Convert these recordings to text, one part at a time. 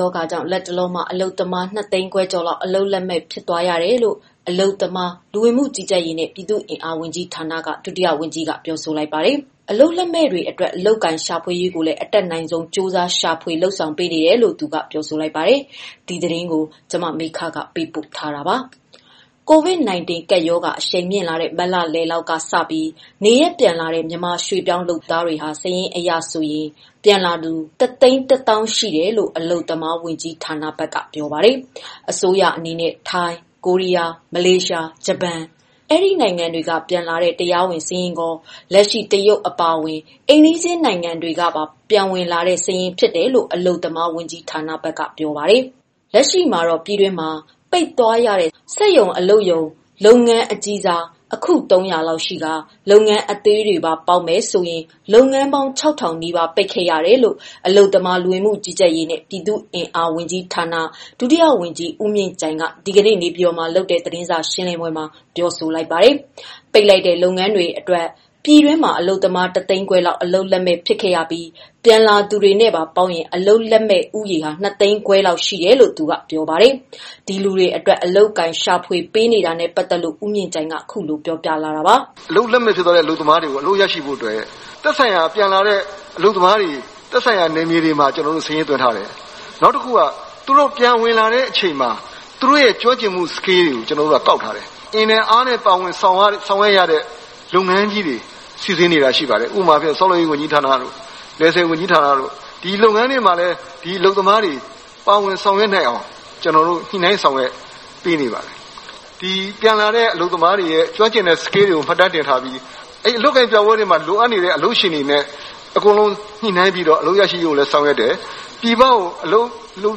ရောဂါကြောင့် လတ်တလောမှာ အလုပ်သမား ၂ သိန်းခွဲကျော်လောက် အလုပ်လက်မဲ့ ဖြစ်သွားရတယ်လို့ အလုပ်သမား၊ လူဝင်မှုကြီးကြပ်ရေးနဲ့ ပြည်သူ့အင်အား ဝန်ကြီးဌာန ဒုတိယဝန်ကြီးက ပြောဆိုလိုက်ပါတယ်။ အလုပ်လက်မဲ့တွေကို အလုပ်အကိုင် ရှာဖွေရေးကိုလည်း အတတ်နိုင်ဆုံး ရှာဖွေလုပ်ဆောင်ပေးနေတယ်လို့ သူက ပြောဆိုလိုက်ပါတယ်။ အပြည့်အစုံကို မမေခ တင်ပြပေးထားပါတယ်။ COVID-19 ကပ်ရောဂါ အရှိန်မြင့်လာတဲ့ မတ်လလောက်ကစပြီး နေရပ်ပြန်လာတဲ့ မြန်မာရွှေ့ပြောင်းလုပ်သားတွေဟာ စာရင်းအရဆို ပြန်လာသူ ၁၁၀,၀၀၀ ရှိတယ်လို့ အလုပ်သမားဝန်ကြီးဌာနဘက်က ပြောပါတယ်။ အစိုးရအနေနဲ့ ထိုင်း၊ ကိုရီးယား၊ မလေးရှား၊ ဂျပန် ဒီနိုင်ငံတွေကပြန်လာတဲ့ တရားဝင်စာရင်းရော လက်ရှိ တရုတ် အပါအဝင် အိမ်နီးချင်းနိုင်ငံတွေကပါ ပြန်ဝင်လာတဲ့စာရင်း ဖြစ်တယ်လို့ အလုပ်သမားဝန်ကြီးဌာနက ပြောပါတယ်။ လက်ရှိ ပြည်တွင်းမှာ ပိတ်သွားရတဲ့ စက်ရုံ အလုပ်ရုံကြီး အခု ၃၀၀ လောက်ရှိကာ လုပ်ငန်းအသေးတွေပါ ပေါင်းမယ်ဆိုရင် လုပ်ငန်းပေါင်း ၆,၀၀၀ နီးပါး ပိတ်ခဲ့ရတယ်လို့ အလုပ်သမား၊ လူဝင်မှုကြီးကြပ်ရေးနဲ့ ပြည်သူ့အင်အား ဝန်ကြီးဌာန ဒုတိယဝန်ကြီး ဦးမြင့်ကြိုင်က ဒီကနေ့ နေပြည်တော်မှာလုပ်တဲ့ သတင်းစာရှင်းလင်းပွဲမှာ အခုလို ပြောဆိုလိုက်တာပါ။ ပိတ်လိုက်တဲ့ လုပ်ငန်းတွေအတွက် ပြည်တွင်းမှာ အလုပ်သမား ၁ သိန်းခွဲလောက် အလုပ်လက်မဲ့ ဖြစ်ခဲ့ရပြီး ပြန်လာသူတွေနဲ့ပါ ပေါင်းရင် အလုပ်လက်မဲ့ဦးရေ ၂ သိန်းခွဲလောက် ရှိတယ်လို့ ပြောပါတယ်။ ဒီလူတွေအတွက် အလုပ်အကိုင် ရှာဖွေပေးနေတာနဲ့ ပတ်သက်လို့ ဦးမြင့်ကြိုင်က ခုလိုပြောပြပါတယ်။ “အလုပ်လက်မဲ့ ဖြစ်သွားတဲ့ အလုပ်သမားတွေ အလုပ်ရရှိဖို့ သက်ဆိုင်ရာ နယ်မြေတွေမှာ စာရင်းသွင်းထားတယ်။ နောက် သူတို့ ပြန်ဝင်လာတဲ့အချိန်မှာ သူတို့ရဲ့ ကျွမ်းကျင်မှုတွေကို ကောက်ထားတယ်။ အင်နဲ့အားနဲ့ ပါဝင် ဆောင်ရွက်ရတဲ့ လုပ်ငန်းကြီးတွေ စီစဉ်နေတာရှိပါတယ်။ ဥပမာ ဆောက်လုပ်ရေးဝန်ကြီးဌာနတို့၊ လယ်ဆည်ဝန်ကြီးဌာနတို့၊ ဒီလုပ်ငန်းတွေမှာလည်း အလုပ်သမားတွေ ပါဝင်ဆောင်ရွက်နိုင်အောင် ညှိနှိုင်း ဆောင်ရွက်ပေးနေပါတယ်။ ပြန်လာတဲ့ အလုပ်သမားတွေရဲ့ ကျွမ်းကျင်တဲ့ Skills တွေကို မှတ်တမ်းတင်ထားပြီး အလုပ်အကိုင်ပြပွဲတွေမှာ လိုအပ်နေတဲ့ အလုပ်ရှင်တွေနဲ့ ညှိနှိုင်းပြီး အလုပ်ရရှိရေး ဆောင်ရွက်တယ်။ “ပြည်ပကို အလုပ်လုပ်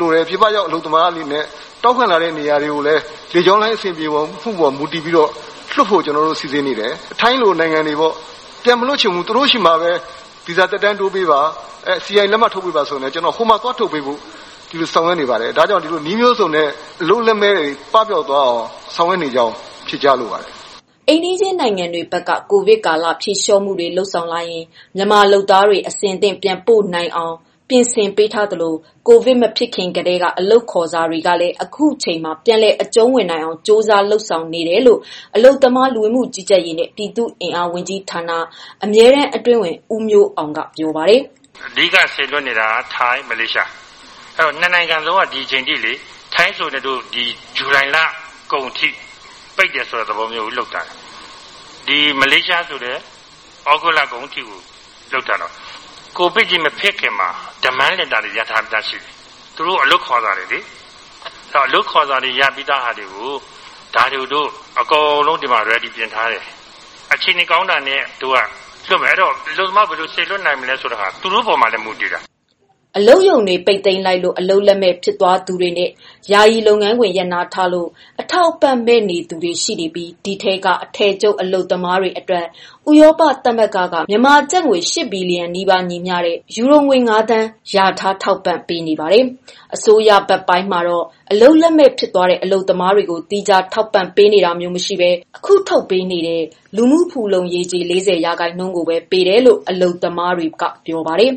လိုတယ်၊ ပြည်ပရောက် အလုပ်သမားအနေနဲ့ တောင်းခံလာတဲ့ နေရာတွေကိုလည်း လေကြောင်းလိုင်း အဆင်ပြေတဲ့ပေါ် မူတည်ပြီးတော့ လွှတ်ဖို့ ကျနော်တို့ စီစဉ်နေတယ်။ ထိုင်းလိုနိုင်ငံတွေ ပြန်မလွှတ်ချင်ဘူး၊ သူတို့ဆီမှာပဲ ဗီဇာသက်တမ်းတိုးပေးပါ၊ စီအိုင်လက်မှတ် ထုတ်ပေးပါဆိုလည်း ဟိုမှာ သွားထုတ်ပေးဖို့ ဆောင်ရွက်နေပါတယ်။ နည်းမျိုးစုံနဲ့ အလုပ်လက်မဲ့တွေ ပပျောက်သွားအောင် ဆောင်ရွက်နေကြောင်း ဖြေကြားလိုပါတယ်။” အိမ်နီးချင်းနိုင်ငံတွေဘက်က ကိုဗစ်ကာလ ဖြေလျော့မှုတွေ လုပ်ဆောင်လာရင် မြန်မာလုပ်သားတွေ အဆင်သင့် ပြန်ပို့ပေးနိုင်အောင် ပြင်ဆင်ပေးထားသလို ကိုဗစ်မဖြစ်ခင်ကတည်းက ရထားတဲ့ အလုပ်ခေါ်စာတွေကိုလည်း အခုအချိန်မှာ ပြန်လည်အကျုံးဝင်နိုင်ဖို့ ကြိုးစားနေတယ်လို့ အလုပ်သမား၊ လူဝင်မှုကြီးကြပ်ရေးနှင့် ပြည်သူ့အင်အား ဝန်ကြီးဌာန အမြဲတမ်းအတွင်းဝန် ဦးမျိုးအောင်က ပြောပါတယ်။ “အဓိကစေလွှတ်နေတာက ထိုင်း၊ မလေးရှား။ နှစ်နိုင်ငံလုံးက ဒီချိန်ထိ ထိုင်းဆိုလည်း ဒီဇူလိုင်လကုန်ထိ ပိတ်တယ်ဆိုတဲ့သဘော လုပ်ထားတယ်။ မလေးရှားဆိုလည်း ဩဂုတ်လကုန်ထိ လုပ်ထားတယ်။ ကိုဗစ်မဖြစ်ခင်မှာ Demand Letter တွေ ရထားပြီးသားရှိတယ်၊ သူတို့ အလုပ်ခေါ်စာတွေ ရပြီးသားဟာတွေကို ဒီမှာ အကုန်လုံး အဆင်သင့်ပြင်ထားတယ်။ အခြေအနေကောင်းတာနဲ့ လွှတ်မယ်။ အဲတော့ အလုပ်သမား ဘယ်လိုစေလွှတ်နိုင်မလဲဆိုတာ သူတို့ပေါ်မှာလည်း မူတည်တယ်။” အလုပ်ရုံတွေ ပိတ်သိမ်းလိုက်လို့ အလုပ်လက်မဲ့ ဖြစ်သွားသူတွေနဲ့ ယာယီ လုပ်ငန်းခွင် ရပ်နားထားလို့ အထောက်အပံ့ မဲ့နေသူတွေရှိနေပြီး ဒီထဲက အထည်ချုပ် အလုပ်သမားတွေအတွက် ဥရောပသမဂ္ဂကနေ မြန်မာကျပ်ငွေ ၈ ဘီလီယံနီးပါး ညီမျှတဲ့ ယူရိုငွေ ၅ သန်း လျာထား ထောက်ပံ့ပေးနေပါတယ်။ အစိုးရဘက်ပိုင်းမှာတော့ အလုပ်လက်မဲ့ ဖြစ်သွားတဲ့ အလုပ်သမားတွေကို သီးခြား ထောက်ပံ့ပေးနေတာမျိုး မရှိဘဲ အခုထုတ်ပေးနေတဲ့ လူမှုဖူလုံရေးကြေး ၄၀ ရာခိုင်နှုန်းကိုပဲ ပေးတယ်လို့ အလုပ်သမားတွေက ပြောပါတယ်